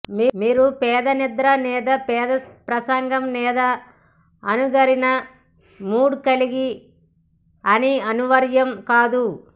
మీరు పేద నిద్ర లేదా పేద ప్రసంగం లేదా అణగారిన మూడ్ కలిగి అని అనివార్యం కాదు